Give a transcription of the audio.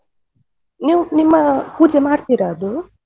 ನೀವು ನಿಮ್ಮ. ಆ ಪೂಜೆ ಮಾಡ್ತೀರಾ ಅದು?